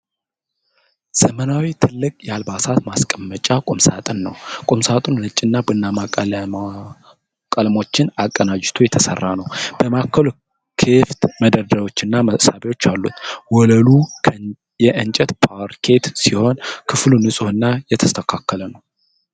ዘመናዊና ትልቅ የአልባሳት ማስቀመጫ ቁምሳጥን ነው ። ቁምሳጥኑ ነጭና ቡናማ ቀለሞችን አቀናጅቶ የተሰራ ነው ። በማዕከሉ ክፍት መደርደሪያዎች እና መሳቢያዎች አሉት። ወለሉ የእንጨት ፓርኬት ሲሆን ክፍሉ ንጹሕ እና የተስተካከለ ነው።